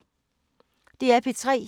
DR P3